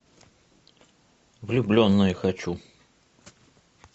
влюбленные хочу